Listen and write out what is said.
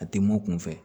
A tɛ mɔ kunfɛ